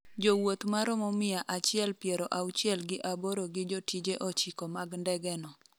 jowuoth maromo mia achiel piero auchiel gi aboro gi jotije ochiko mag ndege no